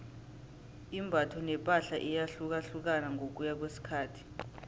imbatho nepahla iyahlukahlukana ngokuya ngokwesikhathi